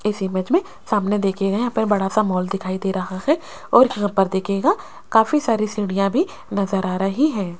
इस इमेज में सामने देखिएगा यहां पर बड़ा सा मॉल दिखाई दे रहा है और यहां पर देखिएगा काफी सारी सीढ़ियां भी नजर आ रही हैं।